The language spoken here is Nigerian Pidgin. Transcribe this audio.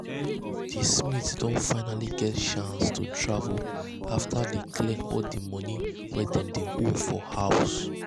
di smiths don finally get chance to travel after dey clear di money wey dem dey owe for house.